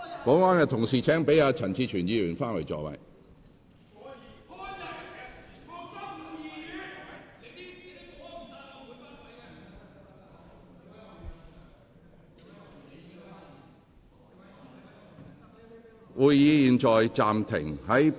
保安人員，請讓陳志全議員返回座位。